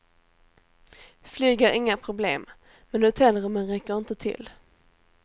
Flyg är inga problem, men hotellrummen räcker inte till.